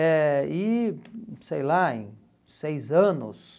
Eh e sei lá, em seis anos...